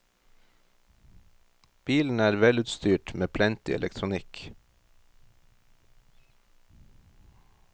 Bilen er velutstyrt, med plenty elektronikk.